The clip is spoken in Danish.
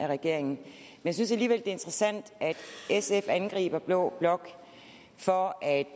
regeringen jeg synes alligevel interessant at sf angriber blå blok for at